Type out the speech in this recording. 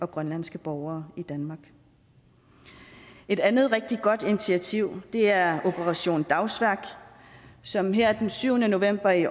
grønlandske borgere i danmark et andet rigtig godt initiativ er operation dagsværk som her den syvende november i